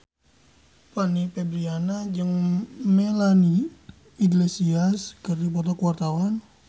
Fanny Fabriana jeung Melanie Iglesias keur dipoto ku wartawan